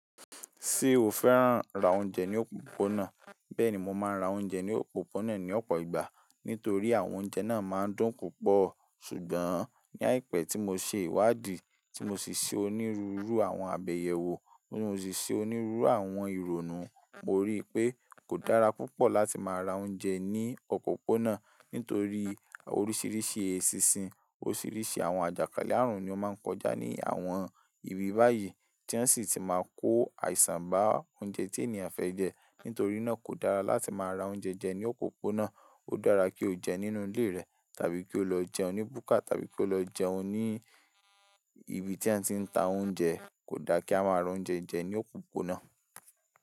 Ṣé o fẹ́ràn ra oúnjẹ ní òpópónà? Bẹ́ẹ̀ni, mo máa ń ra oúnjẹ ní òpópónà ní ọ̀pọ̀ ìgbà nítorí àwọn oúnjẹ náà máa ń dùn púpọ̀. Ṣùgbọ́n ní àìpé tí mo ṣe ìwádìí, tí mo sì ṣe onírúurú àwọn àbẹ̀yẹwọ̀, Ti mo sì ṣe onírúurú àwọn ìrònú, mo rí i pé kò dára púpọ̀ láti máa ra oúnjẹ ní òpópónà nítorí oríṣiríṣi eṣinṣin, oríṣiríṣi àwọn àjàkálẹ̀ àrùn ni ó máa ń kọjá ní àwọn ibi báyìí tí wọ́n sì ti máa ń kó àìsàn bá oúnjẹ tí ènìyàn fẹ́ jẹ. Nítorí náà kò dára láti máa ra oúnjẹ jẹ ní òpópónà, ó dára kí o jẹun nínú ilé rẹ tàbí kí o lọ jẹun ní búkà tàbí kí o lọ jẹun ní ibi tí ẹ́ ti ń ta oúnjẹ. Kò dá kí a máa ra oúnjẹ jẹ ní òpópónà.